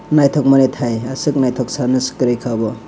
naithok manwi thai aswk naithok sanase kwrwikha obo.